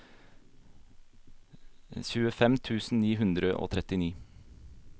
tjuefem tusen ni hundre og trettini